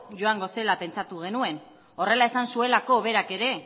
joango zela pentsatu genuen horrela esan zuelako berak ere